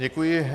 Děkuji.